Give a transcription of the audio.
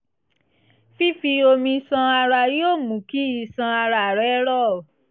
fífi omi ṣan ara yóò mú kí iṣan ara rẹ rọ̀